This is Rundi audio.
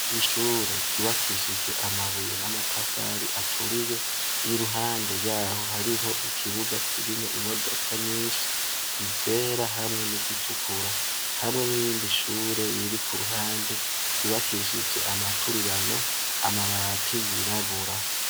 Ishure giwakishijwe amabuye n'amatafari aturiye y'i ruhande yaho hariho ikibuga kirimwo imodoka nyinshi izera hamwe n'izitukura hamwe n'irindi shure biri ku ruhande ryubakishije amaturirano amabati yirabura.